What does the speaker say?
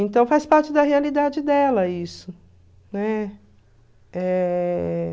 Então faz parte da realidade dela isso, né? Eh...